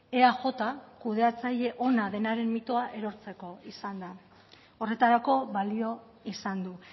eaj kudeatzaile ona denaren mitoa erortzeko izan da horretarako balio izan du